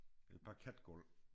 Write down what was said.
Et parketgulv